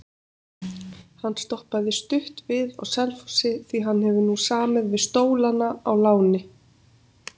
Hann stoppaði stutt við á Selfossi því hann hefur nú samið við Stólana á láni.